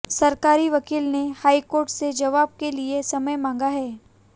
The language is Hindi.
सरकारी वकील ने हाईकोर्ट से जवाब के लिए समय मांगा है